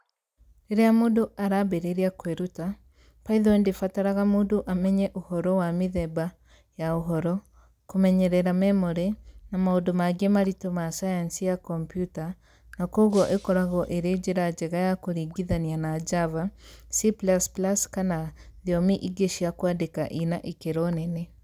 Rĩrĩa mũndũ arambĩrĩria kwĩruta, Python ndĩbataraga mũndũ amenye ũhoro wa mĩthemba ya ũhoro, kũmeyerera memory, na maũndũ mangĩ maritũ ma sayansi ya kompiuta-na kwoguo ĩkoragwo ĩrĩ njĩra njega ya kũringithania na Java, C++, kana thiomi ingĩ cia kwandĩka ina ikĩro nene.